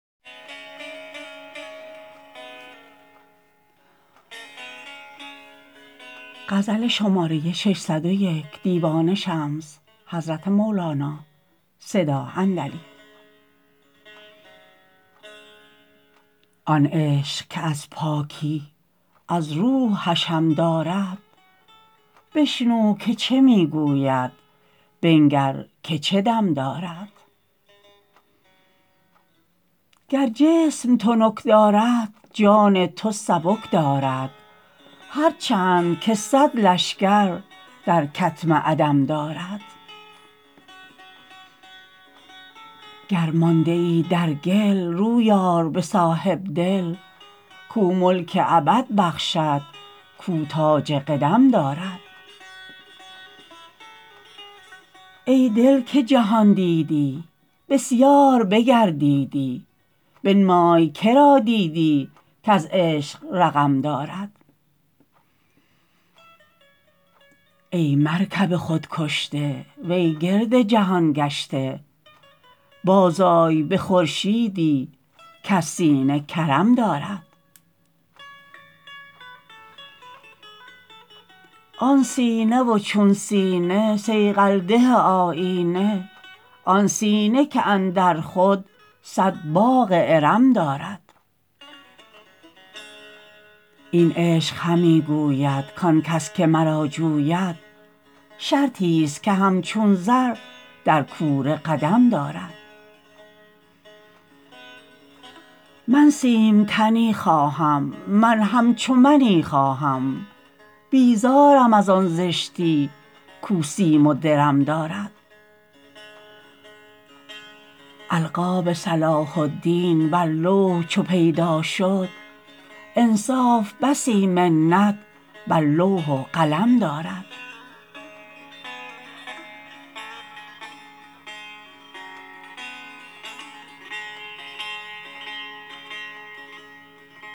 آن عشق که از پاکی از روح حشم دارد بشنو که چه می گوید بنگر که چه دم دارد گر جسم تنک دارد جان تو سبک دارد هر چند که صد لشکر در کتم عدم دارد گر مانده ای در گل روی آر به صاحب دل کو ملک ابد بخشد کو تاج قدم دارد ای دل که جهان دیدی بسیار بگردیدی بنمای که را دیدی کز عشق رقم دارد ای مرکب خود کشته وی گرد جهان گشته بازآی به خورشیدی کز سینه کرم دارد آن سینه و چون سینه صیقل ده آیینه آن سینه که اندر خود صد باغ ارم دارد این عشق همی گوید کان کس که مرا جوید شرطیست که همچون زر در کوره قدم دارد من سیمتنی خواهم من همچو منی خواهم بیزارم از آن زشتی کو سیم و درم دارد القاب صلاح الدین بر لوح چو پیدا شد انصاف بسی منت بر لوح و قلم دارد